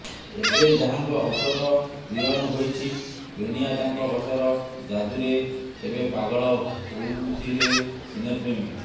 ଏବେ ଯାହାଙ୍କ ହସର ଦିୱାନ ହୋଇଛି ଦୁନିଆ ତାଙ୍କ ହସର ଜାଦୁରେ କେବେ ପାଗଳ ହୋଉଥିଲେ ସିନେ ପ୍ରେମୀ